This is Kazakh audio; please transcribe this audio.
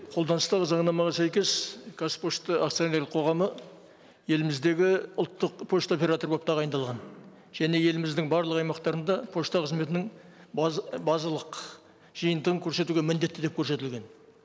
қолданыстағы заңнамаға сәйкес қазпошта акционерлік қоғамы еліміздегі ұлттық пошта операторы болып тағайындалған және еліміздің барлық аймақтарында пошта қызметінің базалық жиынтығын көрсетуге міндетті деп көрсетілген